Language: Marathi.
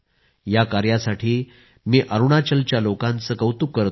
या कार्यासाठी मी अरूणाचलच्या लोकांचे कौतुक करतो